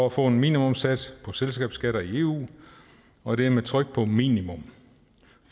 at få en minimumssats på selskabsskatter i eu og det er med tryk på minimum